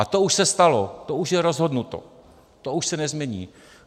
A to už se stalo, to už je rozhodnuto, to už se nezmění.